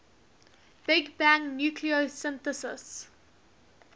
big bang nucleosynthesis